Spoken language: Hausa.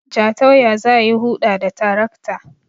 Jatau ya za yi Huɗa da tarakta